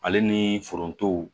Ale ni foronto